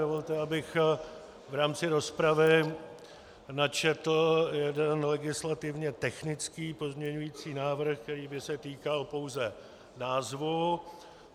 Dovolte, abych v rámci rozpravy načetl jeden legislativně technický pozměňující návrh, který by se týkal pouze názvu.